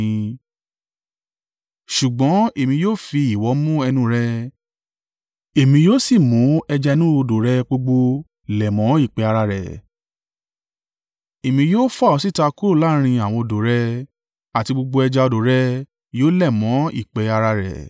Ṣùgbọ́n èmi yóò fi ìwọ̀ mú ẹnu rẹ èmi yóò sì mú ẹja inú odò rẹ gbogbo lẹ̀ mọ́ ìpẹ́ ara rẹ. Èmi yóò fà ọ́ síta kúrò láàrín àwọn odò rẹ, àti gbogbo ẹja odò rẹ yóò lẹ̀ mọ́ ìpẹ́ ara rẹ.